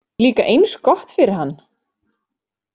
Líka eins gott fyrir hann.